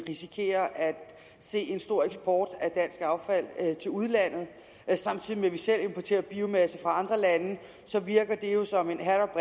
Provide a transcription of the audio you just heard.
risikerer at se en stor eksport af dansk affald til udlandet samtidig med at vi selv importerer biomasse fra andre lande virker det jo som en hat og